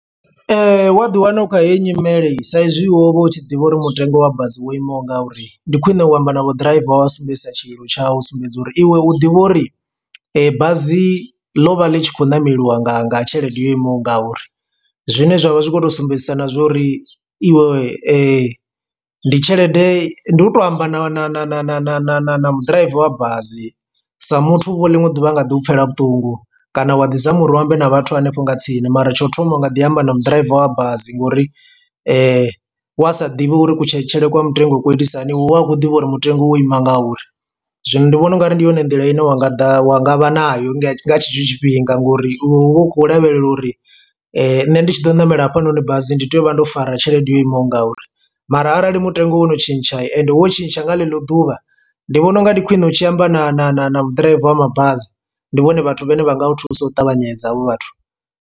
Wa ḓi wana u kha heyi nyimele sa izwi wo vha u tshi ḓivha uri mutengo wa bazi wo imaho nga uri ndi khwine u amba navho ḓiraiva wa sumbedzisa tshililo tshawu u sumbedza uri iwe u ḓivha uri bazi ḽo vha ḽi tshi khou ṋameliwa nga nga tshelede yo imaho nga uri zwine zwavha zwi kho to sumbedzisa na zwa uri iwe ndi tshelede ndi u to amba na na na na na na na na na mu ḓiraiva wa bazi sa muthu uvho ḽiṅwe ḓuvha a nga ḓi u pfela vhuṱungu kana wa ḓi zama uri u ambe na vhathu hanefho nga tsini mara tsho u thoma u nga ḓi amba na mu ḓiraiva wa bazi ngori wa sa ḓivhi uri kutshelele kwa mutengo u itisa hani hu vha hu khou ḓivha uri mutengo wo ima nga uri. Zwino ndi vhona ungari ndi yone nḓila ine wa nga ḓa wa nga vha nayo nga tshetsho tshifhinga ngori hu vha hu khou lavhelela uri nṋe ndi tshi ḓo ṋamela hafhanoni bazi ndi tea u vha ndo fara tshelede yo imaho nga uri mara arali mutengo wo no tshintsha ende hu wo tshintsha nga ḽeḽo ḓuvha ndi vhona unga ndi khwine u tshi amba na na na na ḓiraiva wa mabazi ndi vhone vhathu vhane vha nga thusa u ṱavhanyedza havho vhathu.